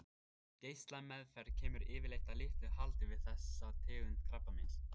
Geislameðferð kemur yfirleitt að litlu haldi við þessa tegund krabbameins.